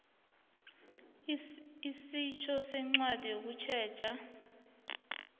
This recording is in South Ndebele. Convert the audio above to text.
isetjho ngencwadi yokusetjha